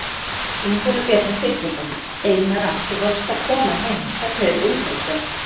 Ingólfur Bjarni Sigfússon: Einara þú varst að koma heim, hvernig er umhorfs hérna?